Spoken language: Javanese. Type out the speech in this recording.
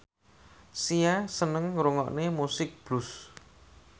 Sia seneng ngrungokne musik blues